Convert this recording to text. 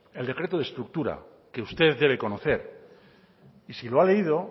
el decreto de estructura que usted debe conocer y si lo ha leído